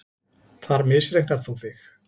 Þar misreiknar þú þig.